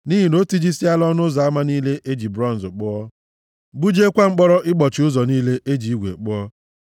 nʼihi na o tijisiela ọnụ ụzọ ama niile e ji bronz kpụọ gbujiekwa mkpọrọ ịkpọchi ụzọ niile e ji igwe kpụọ.